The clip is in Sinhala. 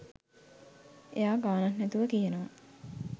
එයා ගානක් නැතුව කියනවා